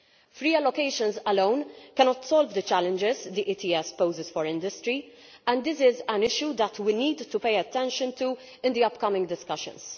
Free allocations alone cannot solve the challenges the ETS poses for industry, and this is an issue that we need to pay attention to in the upcoming discussions.